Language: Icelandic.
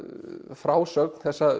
frásögn þessa